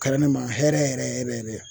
Kɛra ne ma hɛrɛ yɛrɛ yɛrɛ yɛrɛ